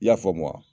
I y'a faamu wa